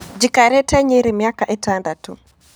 Njikarĩte Nyeri mĩaka ĩtandatũ.